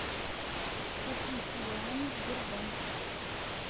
купить юани сбербанк